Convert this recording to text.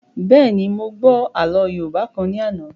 Bẹ́ẹ̀ni, mo gbọ́ àlọ́ yóòbá kan ní àná